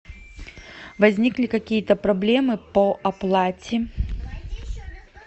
возникли какие то проблемы по оплате